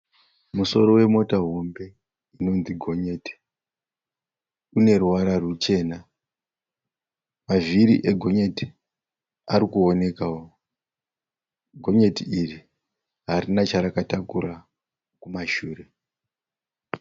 Musoro wemota hombe unonzi gonyeti uneruvara ruchena. Mavhiri egonyeti ari kuonekawo. Gonyeti iri harina charakatakura kumashure.